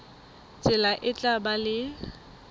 tsela e tla ba le